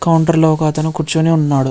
Counter ఒక అతను కూర్చొని ఉన్నాడు.